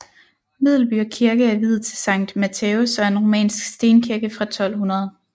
Medelby Kirke er viet til Sankt Matthæus og er en romansk stenkirke fra 1200